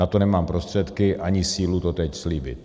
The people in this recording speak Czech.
Na to nemám prostředky ani sílu to teď slíbit.